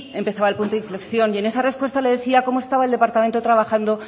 empezaba el punto de inflexión y en esa respuesta le decía cómo estaba el departamento trabajando